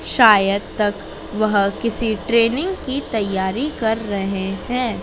शायद तक वह किसी ट्रेनिंग की तैयारी कर रहे हैं।